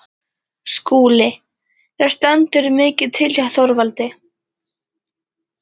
SKÚLI: Það stendur mikið til hjá Þorvaldi.